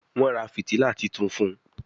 Wón rà fìtílà títún fun